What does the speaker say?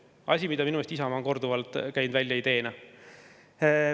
Selle idee on minu meelest Isamaa korduvalt välja käinud.